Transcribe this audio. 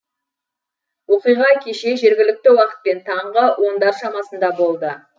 оқиға кеше жергілікті уақытпен таңғы ондар шамасында болды